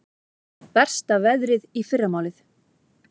Versta veðrið í fyrramálið